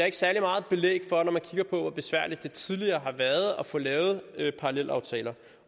ikke særlig meget belæg for når man kigger på hvor besværligt det tidligere har været at få lavet parallelaftaler